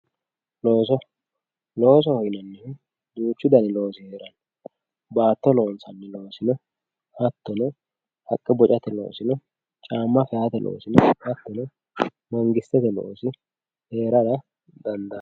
looso loosoho yinannihu duuchu dani loosi heeranno baatto loonsanni loosi no hattono haqqe bocate loosi no caamma feyaate loosi no hattono mangistete loosi heerara dandaanno.